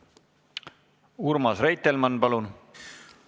Urmas Reitelmann, palun!